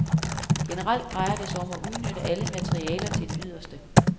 Generelt drejer det sig om at udnytte alle materialer til det yderste.